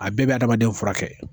A bɛɛ bɛ adamaden furakɛ